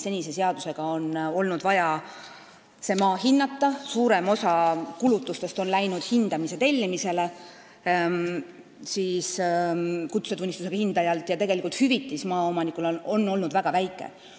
Senise seaduse järgi on olnud vaja see maa hinnata, suurem osa kulutustest on läinud hindamise tellimisele kutsetunnistusega hindajalt ja tegelikult on maaomanikule makstav hüvitis olnud väga väike.